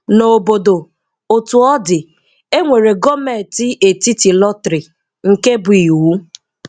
Ná ǒbȯ̀dó, Ọ́tù ọ̀ dị̀, e nwere gọ̀ọ̀mentị etítì lọ́trị̀, nke bù íwù.